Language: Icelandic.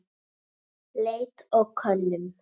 Leit og könnun